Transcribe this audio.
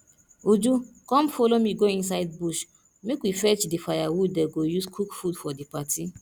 uju come follow me go inside bush make we fetch the firewood dey go use cook food for the party